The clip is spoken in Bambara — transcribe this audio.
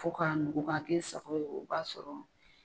Fo ka nugu ka k'i sako ye ,o ba sɔrɔ